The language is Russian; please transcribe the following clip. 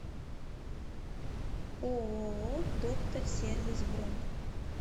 ооо доктор сервис бронь